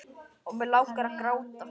Og mig langar að gráta.